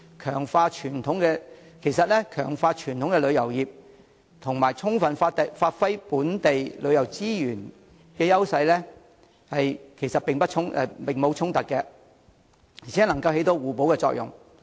其實，強化傳統旅遊業與充分發揮本地旅遊資源的優勢並無衝突，而且能起互補作用。